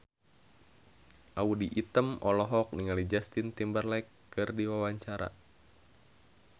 Audy Item olohok ningali Justin Timberlake keur diwawancara